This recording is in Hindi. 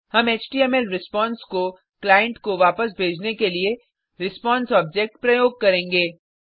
हम एचटीएमएल रिस्पांस को क्लाइन्ट को वापस भेजने के लिए रिस्पांस ऑब्जेक्ट प्रयोग करेंगे